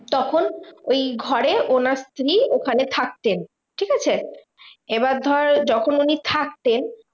তখন ওই ঘরে ওনার স্ত্রী ওখানে থাকতেন, ঠিকাছে? এবার ধর যখন উনি থাকতেন